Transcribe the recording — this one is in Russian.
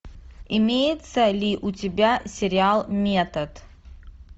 имеется ли у тебя сериал метод